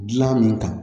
Dilan min ta